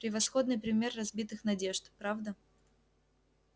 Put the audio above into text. превосходный пример разбитых надежд правда